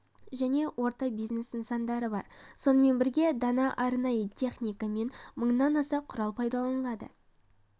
және орта бизнес нысандары бар сонымен бірге дана арнайы техника мен мыңнан аса құрал пайдаланылады